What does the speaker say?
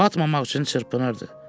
Batmamaq üçün çırpınırdı.